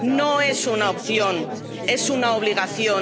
No es una opción, es una obligación.